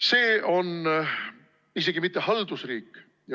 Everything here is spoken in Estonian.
See ei ole isegi mitte haldusriik.